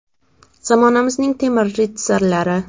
Zamonamizning temir ritsarlari.